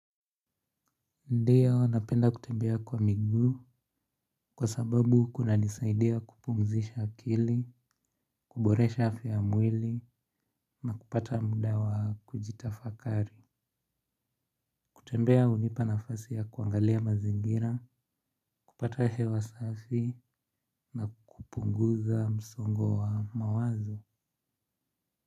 Ndiyo napenda kutembea kwa miguu kwa sababu kunanisaidia kupumzisha akili, kuboresha afya ya mwili na kupata mda wa kujitafakari. Kutembea hunipa nafasi ya kuangalia mazingira, kupata hewa safi na kupunguza msongo wa mawazo.